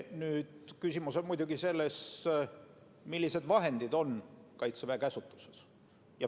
Nüüd küsimus on muidugi selles, millised vahendid on Kaitseväe käsutuses.